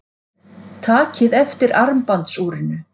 Takið eftir armbandsúrinu.